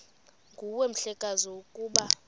nguwe mhlekazi ukuba